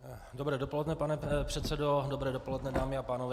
Dobré dopoledne pane předsedo, dobré dopoledne dámy a pánové.